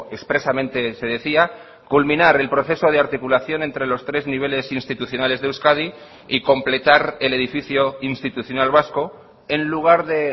expresamente se decía culminar el proceso de articulación entre los tres niveles institucionales de euskadi y completar el edificio institucional vasco en lugar de